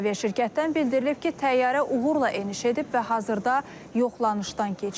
Aviaşirkətdən bildirilib ki, təyyarə uğurla eniş edib və hazırda yoxlanışdan keçir.